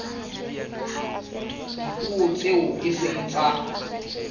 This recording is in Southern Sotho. dipuo tseo e seng tsa